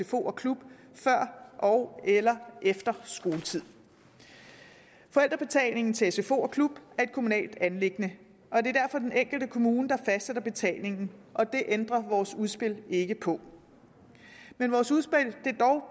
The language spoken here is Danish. sfo og klub før ogeller efter skoletid forældrebetalingen til sfo og klub er et kommunalt anliggende og det er derfor den enkelte kommune der fastsætter betalingen det ændrer vores udspil ikke på men vores udspil